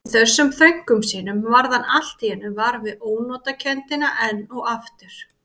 Í þessum þönkum sínum varð hann allt í einu var við ónotakenndina enn og aftur.